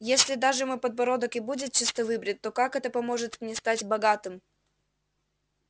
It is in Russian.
если даже мой подбородок и будет чисто выбрит то как это поможет мне стать богатым